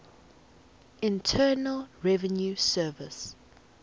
internal revenue service